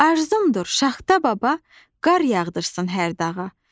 Arzumdur şaxta baba, qar yağdırsın hər dağa.